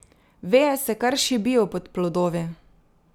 Veje se kar šibijo pod plodovi.